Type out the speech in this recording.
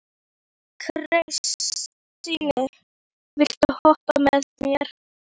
Kristine, viltu hoppa með mér?